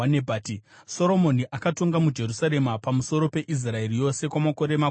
Soromoni akatonga muJerusarema pamusoro peIsraeri yose kwamakore makumi mana.